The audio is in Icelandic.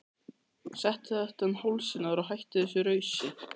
Settu þetta um hálsinn á þér og hættu þessu rausi!